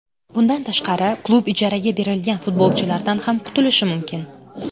Bundan tashqari, klub ijaraga berilgan futbolchilardan ham qutulishi mumkin.